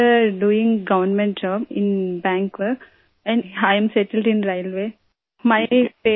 میری پہلی بہن بینک میں سرکاری ملازمت کرتی ہے اور میں ریلوے میں ملازم ہوں